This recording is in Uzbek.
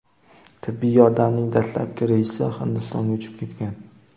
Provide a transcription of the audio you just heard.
Tibbiy yordamning dastlabki reysi Hindistonga uchib ketgan.